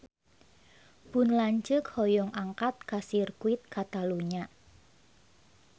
Pun lanceuk hoyong angkat ka Sirkuit Katalunya